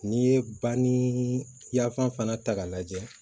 N'i ye bani yaafan fana ta k'a lajɛ